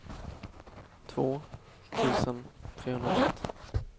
två tusen trehundraett